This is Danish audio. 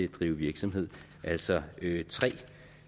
drive virksomhed altså tre